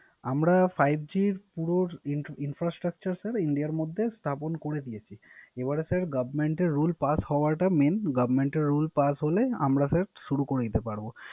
আমরা five G এর পুরো Infrastructure sir ইন্ডিয়ার মধ্যে স্থাপন করে দিয়েছি। এবারে স্যার Government এর Rule পাশ হওয়াটা মেন। Government এর Rule পাশ হলে আমরা Sir শুরু করে দিতে পারব।